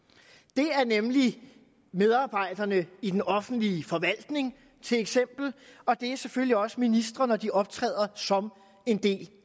det er nemlig medarbejderne i den offentlige forvaltning til eksempel og det er selvfølgelig også ministre når de optræder som en del